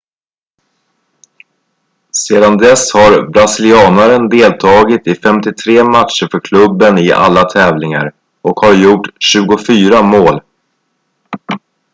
sedan dess har brasilianaren deltagit i 53 matcher för klubben i alla tävlingar och har gjort 24 mål